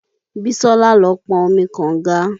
Bísọ́lá lọ pọn omi kọ̀nga.